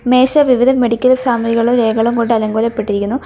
മേശ വിവിധ മെഡിക്കൽ സാമഗ്രികളും രേഖകളും കൊണ്ട് അലങ്കോലപ്പെട്ടിരിക്കുന്നു.